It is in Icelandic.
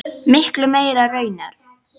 Miklu meira raunar.